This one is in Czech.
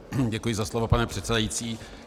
Děkuji za slovo, pane předsedající.